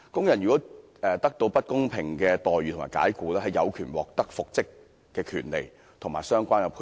如果工人得到不公平的待遇和解僱，有獲得復職的權利及相關的賠償。